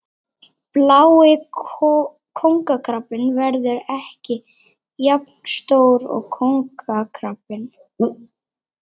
Blái kóngakrabbinn verður ekki jafn stór og kóngakrabbinn.